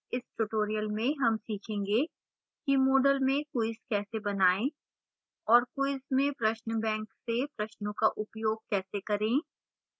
इस tutorial में हम सीखेंगे कि :